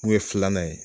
N kun ye filanan ye